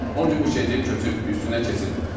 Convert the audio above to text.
Ona görə bu şey deyib köçüb üstündən keçirdim.